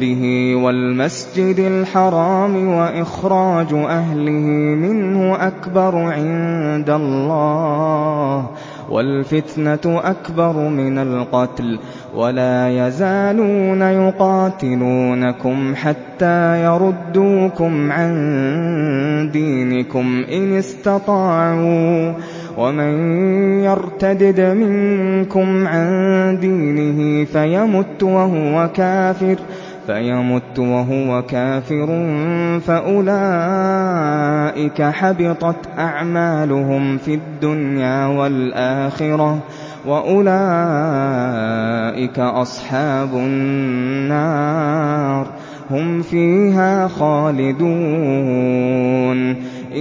بِهِ وَالْمَسْجِدِ الْحَرَامِ وَإِخْرَاجُ أَهْلِهِ مِنْهُ أَكْبَرُ عِندَ اللَّهِ ۚ وَالْفِتْنَةُ أَكْبَرُ مِنَ الْقَتْلِ ۗ وَلَا يَزَالُونَ يُقَاتِلُونَكُمْ حَتَّىٰ يَرُدُّوكُمْ عَن دِينِكُمْ إِنِ اسْتَطَاعُوا ۚ وَمَن يَرْتَدِدْ مِنكُمْ عَن دِينِهِ فَيَمُتْ وَهُوَ كَافِرٌ فَأُولَٰئِكَ حَبِطَتْ أَعْمَالُهُمْ فِي الدُّنْيَا وَالْآخِرَةِ ۖ وَأُولَٰئِكَ أَصْحَابُ النَّارِ ۖ هُمْ فِيهَا خَالِدُونَ